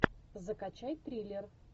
закачай триллер